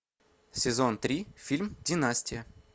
сезон три фильм династия